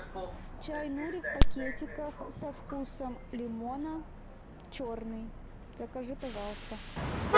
чай нури в пакетиках со вкусом лимона черный закажи пожалуйста